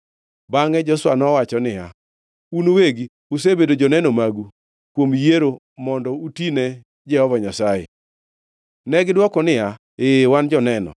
Bangʼe Joshua nowacho niya, “Un uwegi usebedo joneno magu kuom yiero mondo uti ne Jehova Nyasaye.” Negidwoko niya, “Ee, wan joneno.”